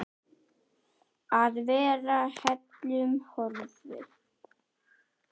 Að vera heillum horfin